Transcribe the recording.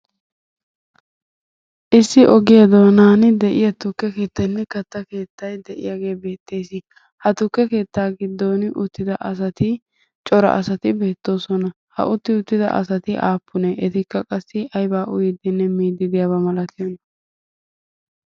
Issi ogiyan de'iya tukke keettaynne katta keettay de'iyagee beettees. Ha tukke keetttaa giddon uttida asati cora asati beettoosona. Ha utti uttida asati aappunee etikka qassi ayba miiddinne uyyiidi de'iyona?